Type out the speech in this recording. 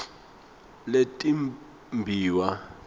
letimbiwa